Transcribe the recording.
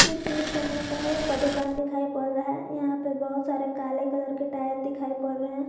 इस दृश्य मे टायर का दुकान दिखाई पड़ रहा है यहां पे बहोत सारे काले कलर के टायर दिखाई पड़ रहे हैं।